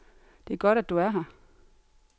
Det er godt, at du er her.